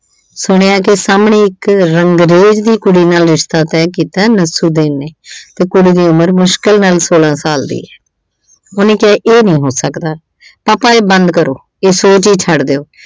ਸੁਣਿਆ ਕਿ ਸਾਹਮਣੇ ਇੱਕ ਰੰਗਰੇਜ਼ ਦੀ ਕੁੜੀ ਨਾਲ ਰਿਸ਼ਤਾ ਤੈਅ ਕੀਤਾ ਨਸਰੂਦੀਨ ਨੇ। ਤੇ ਕੁੜੀ ਦੀ ਉਮਰ ਮੁਸ਼ਕਿਲ ਸੋਲ੍ਹਾਂ ਸਾਲ ਦੀ ਐ। ਉਹਨੇ ਕਿਹਾ ਇਹ ਨੀਂ ਹੋ ਸਕਦਾ। papa ਇਹ ਬੰਦ ਕਰੋ। ਇਹ ਸੋਚ ਈ ਛੱਡ ਦਿਓ।